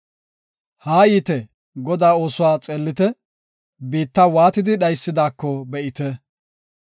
Haa yiite; Godaa oosuwa xeellite; biitta waatidi dhaysidaako be7ite.